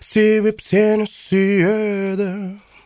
себеп сені сүйеді